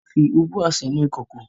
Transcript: Wọ́n fi ubwa sínú ìkòkò